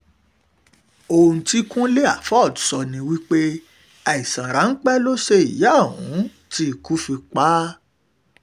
ohun tí kúnlé afọ́fọ́ sọ ni pé àìsàn ráńpẹ́ náà ló ṣe ìyà ohun tí ikú fi pa á